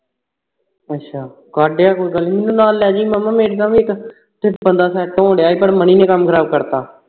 ਅੱਛਾ ਕਡ ਆ ਕੋਈ ਗੱਲ ਨਹੀਂ ਮੈਨੂੰ ਨਾਲ ਲੈ ਜਾਵੀਂ ਮਾਮਾ ਮੇਰੇ ਨਾਲ ਵੀ ਇੱਕ ਬੰਦਾ set ਹੋਣ ਡੇਆਂ ਸੀ ਪਰ ਮਹੀਨੇ ਕੰਮ ਖਰਾਬ ਕਰ ਦਿੱਤਾ